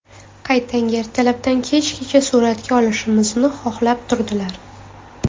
Qaytanga ertalabdan kechgacha suratga olishimizni xohlab turdilar.